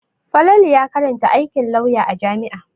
Falatu ya karanta aikin lauya a jami'a.